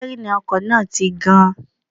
Sítẹ́rìnì ọkọ̀ náà ti gan-an